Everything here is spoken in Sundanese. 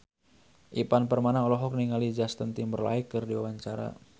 Ivan Permana olohok ningali Justin Timberlake keur diwawancara